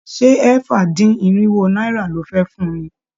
Ṣé ẹ̀fà-dín-irinwo náírà lo fẹ́ fun ni?